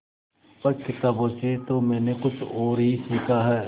पर किताबों से तो मैंने कुछ और ही सीखा है